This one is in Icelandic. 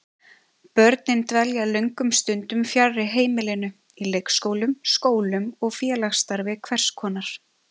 Börnin dvelja löngum stundum fjarri heimilinu, í leikskólum, skólum og félagsstarfi hvers konar.